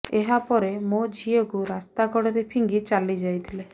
ଏହା ପରେ ମୋ ଝିଅକୁ ରାସ୍ତା କଡ଼ରେ ଫିଙ୍ଗି ଚାଲି ଯାଇଥିଲେ